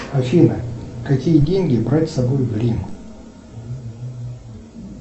афина какие деньги брать с собой в рим